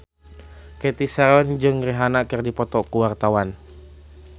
Cathy Sharon jeung Rihanna keur dipoto ku wartawan